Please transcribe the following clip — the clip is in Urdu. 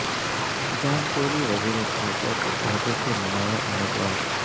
جان کیری وزیر خارجہ کے عہدے کے نمایاں امیدوار